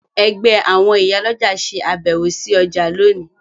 Ẹgbẹ́ àwọn ìyálọ́jà ṣe àbẹ̀wò sí ọjà lónìí